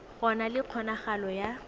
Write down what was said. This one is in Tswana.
go na le kgonagalo ya